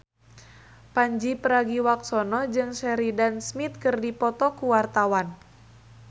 Pandji Pragiwaksono jeung Sheridan Smith keur dipoto ku wartawan